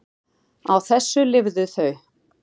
Á þessu lifðu þau.